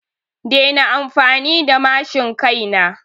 Dena amfani da matshin kai na!